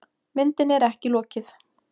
Myndinni er ekki lokið.